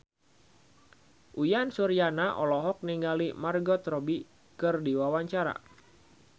Uyan Suryana olohok ningali Margot Robbie keur diwawancara